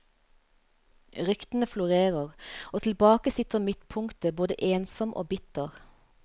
Ryktene florerer, og tilbake sitter midtpunktet både ensom og bitter.